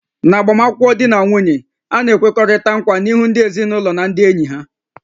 N'agbamakwụkwọ, di na nwunye na-ekwekọrịta nkwa n'ihu ndị ezinụlọ na ndị enyi ha